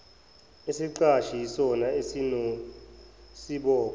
isiqashi yisona esinesibopho